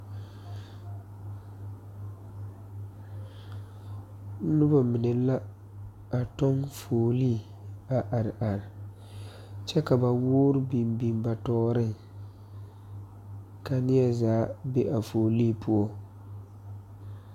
Nobɔ mine la tɔŋ fuolee a are are kyɛ ka ba woore biŋ biŋ ba nimitooreŋ ka neɛ zaa be a fuolee poɔ.